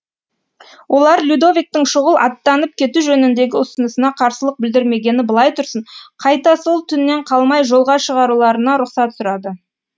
олар людовиктің шұғыл аттанып кету жөніндегі ұсынысына қарсылық білдірмегені былай тұрсын қайта сол түннен қалмай жолға шығуларына рұқсат сұрады